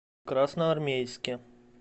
красноармейске